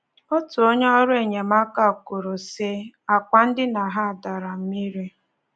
Otu onye ọrụ enyemaka kwuru, sị: “Àkwà ndina ha dere mmiri.